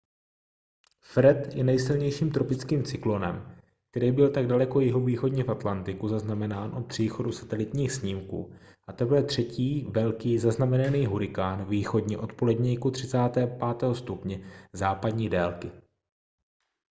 fred je nejsilnějším tropickým cyklonem který byl tak daleko jihovýchodně v atlantiku zaznamenán od příchodu satelitních snímků a teprve třetí velký zaznamenaný hurikán východně od poledníku 35° západní délky